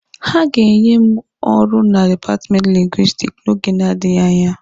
Ha ga-enye m ọrụ na dipatmenti Lingwisitiki n'oge na-adịghị anya.